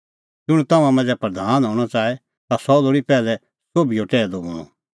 ज़ुंण तम्हां मांझ़ै प्रधान हणअ च़ाहे ता सह लोल़ी पैहलै सोभिओ टैहलू बणअ